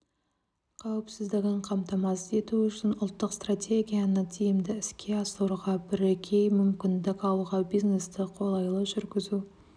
қауіпсіздігін қамтамасыз ету үшін ұлттық стратегияны тиімді іске асыруға бірегей мүмкіндік алуға бизнесті қолайлы жүргізу